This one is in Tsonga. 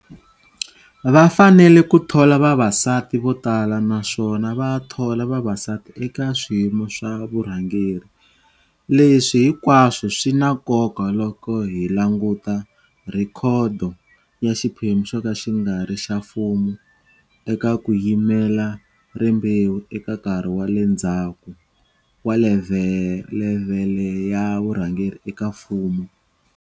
Va fanele ku thola vavasati vo tala naswona va thola vavasati eka swiyimo swa vurhangeri. Leswi hinkwaswo swi na nkoka loko hi languta rhekhodo ya xiphemu xoka xi ngari xa mfumo eka kuyimela rimbewu eka nkarhi wa le ndhaku wa levhele ya vurhangeri eka mfumo.